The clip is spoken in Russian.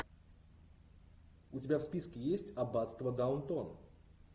у тебя в списке есть аббатство даунтон